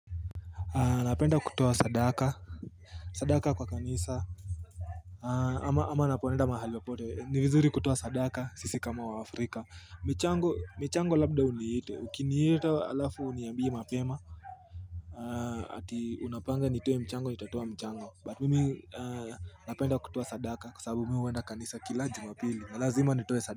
Napenda kutoa sadaka Sadaka kwa kanisa ama naponenda mahali wapote, ni vizuri kutua sadaka, sisi kama wa Afrika michango labda uniite, ukini hita alafu uniambii mapema ati unapanga nitue mchango nitatua mchango But mimi napenda kutoa sadaka kwasababuu mimi huenda kanisa kila jumapili na lazima nitoe sadaka.